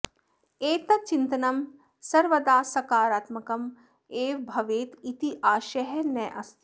एतत् चिन्तनं सर्वदा सकारात्मकम् एव भवेत् इति आशयः नास्ति